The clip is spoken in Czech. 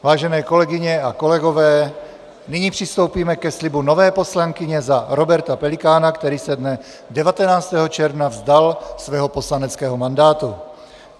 Vážené kolegyně a kolegové, nyní přistoupíme ke slibu nové poslankyně za Roberta Pelikána, který se dne 19. června vzdal svého poslaneckého mandátu.